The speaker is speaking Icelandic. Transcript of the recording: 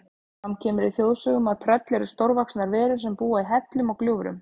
Fram kemur í þjóðsögum að tröll eru stórvaxnar verur sem búa í hellum og gljúfrum.